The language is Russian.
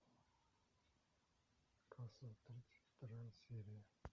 касл тридцать вторая серия